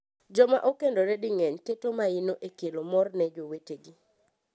Joma okendore di mang’eny keto maino e kelo mor ne jowetegi.